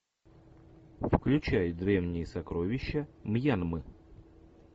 включай древние сокровища мьянмы